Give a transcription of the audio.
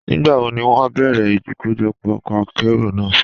Nígbàwó ni wọn yóò bẹ̀rẹ́ ikọ́jọpọ́ ọkọ àkéró náà?